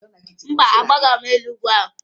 Mba, agbagoghi m n'elu ugwu ahụ